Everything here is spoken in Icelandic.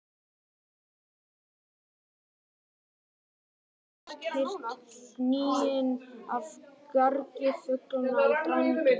Í logninu gat næmt eyra nánast heyrt gnýinn af gargi fuglanna í Drangey.